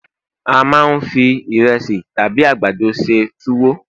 a ma n fi iresi tabi àgbàdo se tuwo